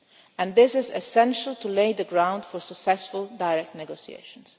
solution. And this is essential to lay the ground for successful direct